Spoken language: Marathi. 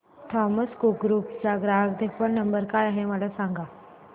थॉमस कुक ग्रुप चा ग्राहक देखभाल नंबर काय आहे मला सांगा